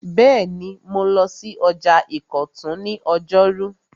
Bẹ́ẹ̀ni, mo lọ sí ọjà ìkọ̀tún ní ọjọ́rú